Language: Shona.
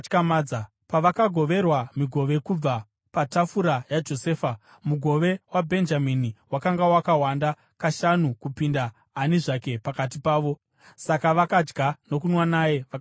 Pavakagoverwa migove kubva patafura yaJosefa, mugove waBhenjamini wakanga wakawanda kashanu kupinda ani zvake pakati pavo. Saka vakadya nokunwa naye vakasununguka.